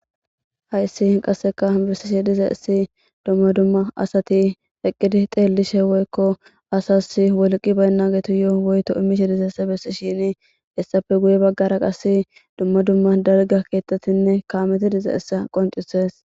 Hayssi qasseka bisishe diza essi dumma dumma asati eqqidi xeellishe woykko asas wolqi baynna geetu yoo woyto imishe dizaesse bessi shini issape guye baggara qas dumma dumma darga keettetinne kaameti diza essa qoncises.